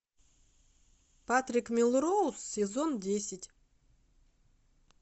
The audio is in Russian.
патрик мелроуз сезон десять